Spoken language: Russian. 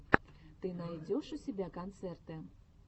ты найдешь у себя концерты